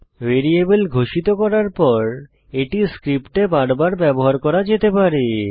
variable ঘোষিত করার পর এটি স্ক্রিপ্টে বার বার ব্যবহার করা যেতে পারে